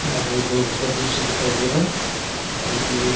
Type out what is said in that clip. यहाँ पे दो घर का दृश्य दिखाई दे रहा हैं जोकी एक--